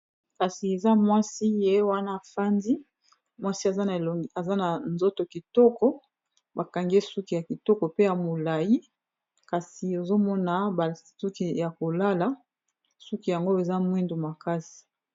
Kasi eza mwasi ye wana afandi mwasi aza na nzoto kitoko bakangi ye suki ya kitoko pe ya molayi kasi ozomona basuki ya kolala suki yango eza mwindu makasi.